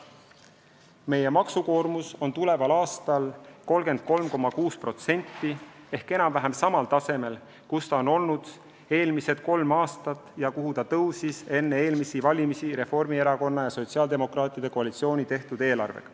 Meie maksukoormus on tuleval aastal 33,6% ehk enam-vähem samal tasemel, kus see on olnud eelmised kolm aastat ja kuhu ta tõusis enne eelmisi valimisi Reformierakonna ja sotsiaaldemokraatide koalitsiooni tehtud eelarvet.